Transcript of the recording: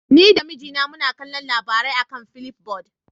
Ni da mijina muna kallon labarai a kan flipboard.